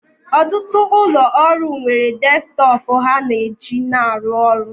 Ọtụtụ ụlọ ọrụ nwere desktọpụ ha na-eji na arụ ọrụ